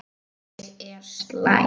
Ég er slæg.